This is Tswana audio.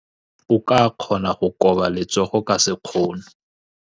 O ka kgona go koba letsogo ka sekgono.